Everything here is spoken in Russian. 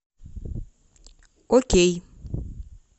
окей